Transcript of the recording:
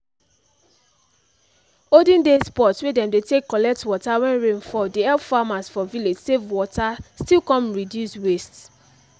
olden days pot wey dem dey take collect water when rain fall dey help farmers for village save water still come reduce waste